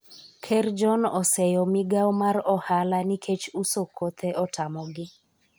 Ker John oseyo migawo mar ohala nikech uso kothe otamogi